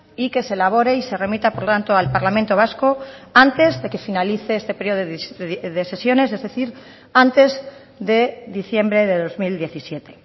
y que se elabore y se remita por tanto al parlamento vasco antes de que finalice este periodo de sesiones es decir antes de diciembre de dos mil diecisiete